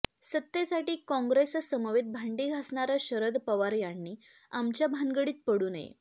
सत्तेसाठी कॉंग्रेससमवेत भांडी घासणार्या शरद पवार यांनी आमच्या भानगडीत पडू नये